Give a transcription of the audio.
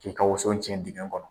K'i ka woso tiɲɛ dingɛn kɔnɔ.